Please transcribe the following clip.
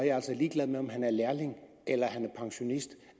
jeg altså ligeglad med om han er lærling eller han er pensionist